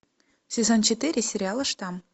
сезон четыре сериала штамм